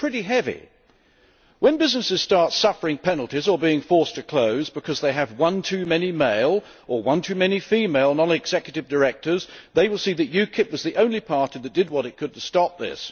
This is pretty heavy! When businesses start suffering penalties or being forced to close because they have one too many male, or one too many female, non executive directors, they will see that UKIP was the only party that did what it could to stop this.